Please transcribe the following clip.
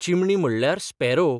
चिमणी म्हणल्यार स्पॅरो.